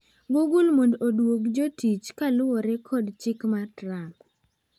Google mond odwog jotich kaluore kod chik mar Trump.